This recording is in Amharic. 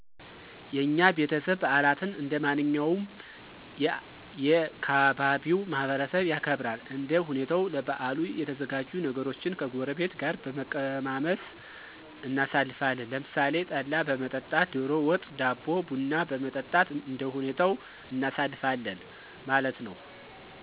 የኛ ቤተሰብ በዓላትን እንደማንኛውም የ ካባቢው ማህበረሰብ ያከብራል። እንደ ሁኔታዉ ለበዓሉ የተዘጋጁ ነገሮችን ከጎረቤት ጋር በመቀማመስ እናሣልፋለን። ለምሣሌ ጠላ በመጠጣት፣ ደሮ ወጥ፣ ዳቦ፣ ቡና በመጠጣት እንደሁኔታው እናሳልፋለን ማለት ነዉ።